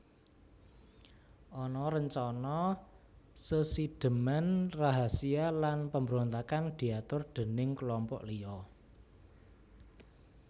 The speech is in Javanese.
Ana rencana sesidheman rahasia lan pambrontakan diatur déning kelompok liya